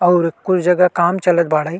अउर कुछ जगह काम चलत बाड़ई।